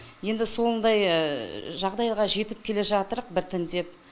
енді сондай жағдайға жетіп келе жатырық біртіндеп